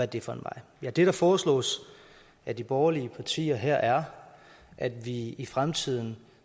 det for en vej ja det der foreslås af de borgerlige partier her er at vi i fremtiden